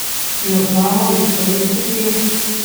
Jo znamo izkoristiti?